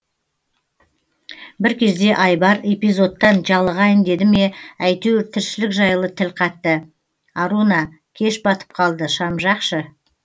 бір кезде айбар эфизодтан жалығайын деді ме әйтеуір тіршілік жайлы тіл қатты аруна кеш батып қалды шам жақшы